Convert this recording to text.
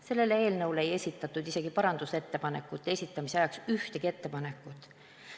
Selle eelnõu kohta ei esitatud parandusettepanekute esitamise ajaks isegi ühtegi ettepanekut.